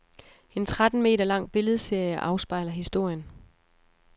En tretten meter lang billedserie afspejler historien.